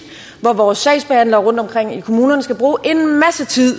hvor vores sagsbehandlere rundtomkring i kommunerne skal bruge at